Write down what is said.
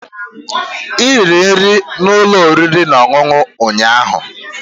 Ị riri nri na ụlọ oriri na ọṅụṅụ ụnyaahụ